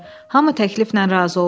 Hamı təkliflə razı oldu.